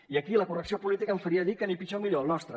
i aquí la correcció política em faria dir que ni pitjor ni millor el nostre